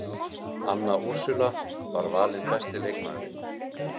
Anna Úrsúla valin besti leikmaðurinn